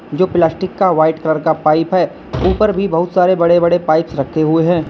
जो प्लास्टिक का white colour का पाइप है ऊपर भी बहुत सारे बड़े बड़े पाइपस रखे हुए हैं।